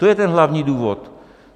To je ten hlavní důvod.